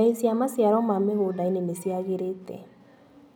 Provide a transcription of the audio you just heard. Mbei cia maciaro ma mĩgũndainĩ nĩciagĩrĩte.